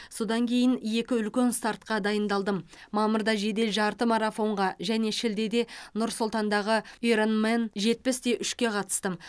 содан кейін екі үлкен стартқа дайындалдым мамырда жедел жарты марафонға және шілдеде нұр сұлтандағы иронмэн жетпіс те үшке қатыстым